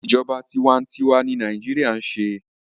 Ìjọba tiwa n tiwa ni Nàíjíríà ń ṣe